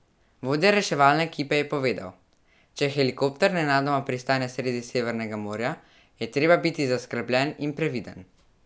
Vodja reševalne ekipe je povedal: "Če helikopter nenadoma pristane sredi Severnega morja, je treba biti zaskrbljen in previden.